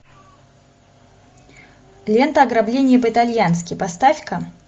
лента ограбление по итальянски поставь ка